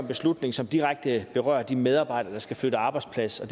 beslutning som direkte berører de medarbejdere der skal flytte arbejdsplads og